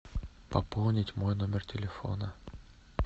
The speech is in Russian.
пополнить мой номер телефона